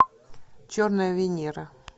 черная венера